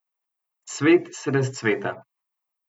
Svet se razcveta.